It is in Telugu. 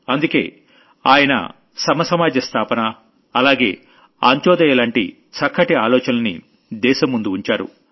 అందుకే ఆయన సమసమాజ స్థాపన అలాగే అంత్యోదయ లాంటి చక్కటి ఆలోచనల్ని దేశం ముందు ఉంచారు